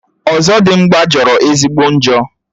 Ọzọdimgbà jọrọ ezigbo njọ